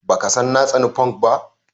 Baka san na tsani funk ba?